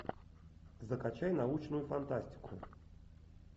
закачай научную фантастику